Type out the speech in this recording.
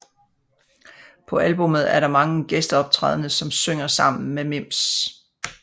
På albumet er der mange gæsteoptrædne som synger sammen med Mims